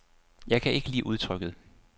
Jeg kan ikke lide udtrykket.